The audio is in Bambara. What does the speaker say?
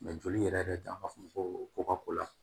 Mɛ joli yɛrɛ yɛrɛ de b'a fɔ ko ka ko la